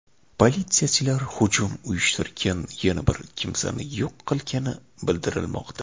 Politsiyachilar hujum uyushtirgan yana bir kimsani yo‘q qilgani bildirilmoqda.